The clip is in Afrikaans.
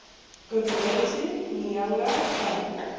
guguletu nyanga and